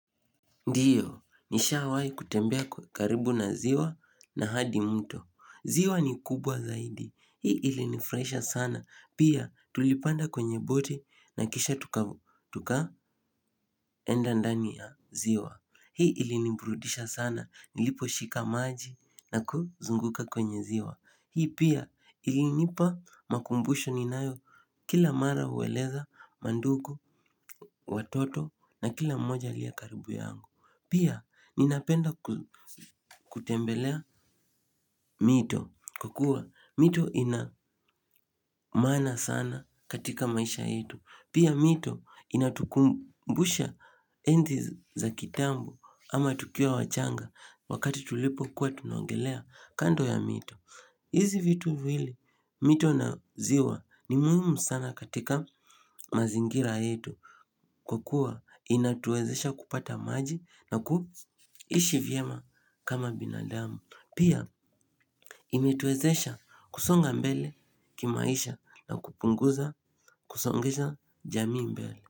Ndiyo, nishawahi kutembea karibu na ziwa na hadi mto. Ziwa ni kubwa zaidi. Hii ilinifurahisha sana. Pia tulipanda kwenye boti na kisha tuka tukaenda ndani ya ziwa. Hii iliniburudisha sana. Niliposhika maji na kuzunguka kwenye ziwa. Hii pia ilinipa makumbusho ninayo kila mara hueleza mandugu, watoto na kila mmoja aliye karibu yangu. Pia ninapenda kutembelea mito kwa kuwa mito ina maana sana katika maisha yetu. Pia mito inatukumbusha enzi za kitambo ama tukiwa wachanga wakati tulipo kuwa tunaongelea kando ya mito. Hizi vitu vile mito na ziwa ni muhimu sana katika mazingira yetu. Kwa kuwa inatuwezesha kupata maji na kuishi vyema kama binadamu. Pia imetuwezesha kusonga mbele kimaisha na kupunguza kusongesha jamii mbele.